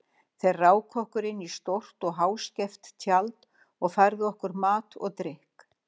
Þeir ráku okkur inn í stórt og háskeft tjald og færðu okkur mat og drykk.